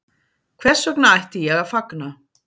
Hvers vegna ætti ég að fagna